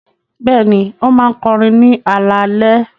Bẹ́ẹ̀ni, ó máa ń kọrin ní alaalẹ́.